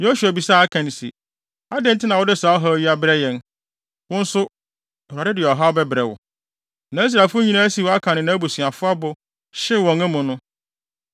Yosua bisaa Akan se, “Adɛn nti na wode saa ɔhaw yi abrɛ yɛn? Wo nso, Awurade de ɔhaw bɛbrɛ wo.” Na Israelfo nyinaa siw Akan ne nʼabusuafo abo, hyew wɔn amu no.